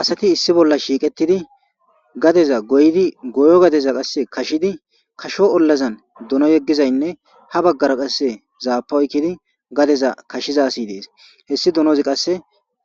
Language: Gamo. asati issi bolla shiiqetidi gadeza goydi goyo gadeza qasse kashidi kasho ollazan duno yeggizaynne ha baggara qasse zaapa oykidi gadeza kashiza si dees hessi dunozi qasse